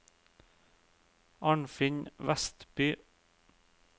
Arnfinn Westby